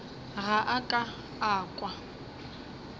ga a ka a kwa